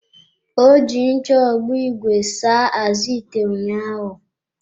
Ọ ji ncha ogbo ìgwè saa-azụ ite ụnyaahụ.